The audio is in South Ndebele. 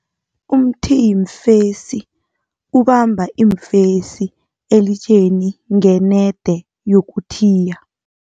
Umthiyiimfesi ubamba iimfesi elitsheni ngenede yokuthiya.